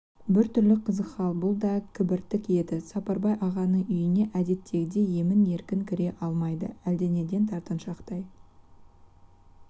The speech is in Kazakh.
біртүрлі қызық хал бұл да кібіртік енді сапарбай ағаның үйіне әдеттегідей емен-еркін кіре алмайды әлденеден тартыншақтай